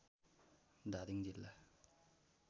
धादिङ जिल्ला